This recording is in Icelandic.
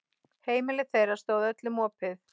Heimili þeirra stóð öllum opið.